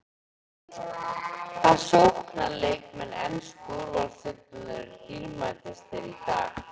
Hvaða sóknarleikmenn ensku úrvalsdeildarinnar eru dýrmætastir í dag?